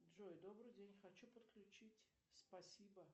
джой добрый день хочу подключить спасибо